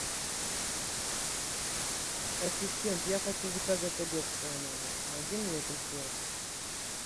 ассистент я хочу заказать обед в свой номер помоги мне это сделать